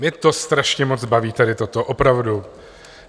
Mě to strašně moc baví tady toto, opravdu.